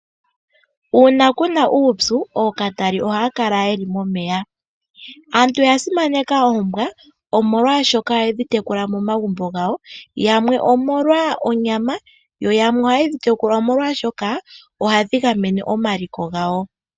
Uuna kuna uupyu ookatali ohaya kala yeli momeya. Aantu oya simaneka oombwa omolwa shoka ohayedhi tekula momagumbo gawo yamwe omolwa onyama yo yamwe ohayedhi tekula omolwashoka ohadhi gamene omaliko gawo.